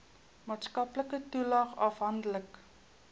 maatskaplike toelaes afhanklik